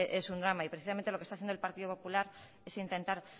es un drama y precisamente lo que está haciendo el partido popular es intentar